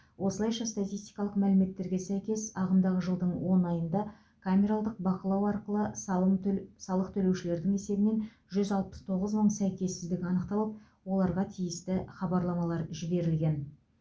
осылайша статистикалық мәліметтерге сәйкес ағымдағы жылдың он айында камералдық бақылау арқылы салым төл салық төлеушілердің есебінен жүз алпыс тоғыз мың сәйкессіздік анықталып оларға тиісті хабарламалар жіберілген